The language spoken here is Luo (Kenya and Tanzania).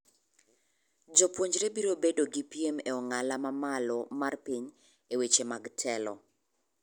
Jopuonjre biro bedo gi piem e ong'ala mamalo mar piny e weche mag telo.